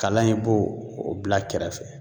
Kala in i b'o o bila kɛrɛfɛ